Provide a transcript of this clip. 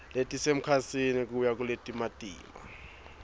letisemkhatsini kuya kuletimatima